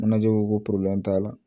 Manaje ko t'a la